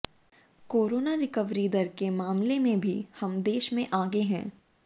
corona recovery दर के मामले में भी हम देश में आगे हैं